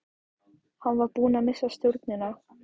Hann var búinn að missa stjórnina.